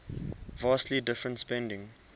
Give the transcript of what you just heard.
vastly different spending